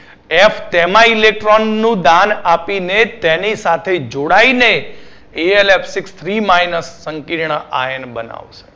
F pema Electron નું દાન આપીને જ તેની સાથે જોડાઈ ને Elf six Three minus પંકિર્ણ ion બનાવશું